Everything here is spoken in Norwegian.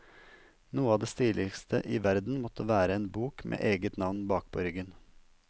Noe av det stiligste i verden måtte være en bok med eget navn bakpå ryggen.